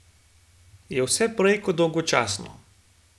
Je vse prej kot dolgočasno.